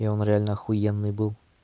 и он реально ахуенный был